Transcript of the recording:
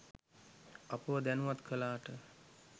අපව දැනුවත් කලාට.